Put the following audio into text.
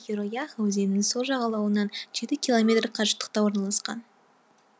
хиро яха өзенінің сол жағалауынан жеті километр қашықтықта орналасқан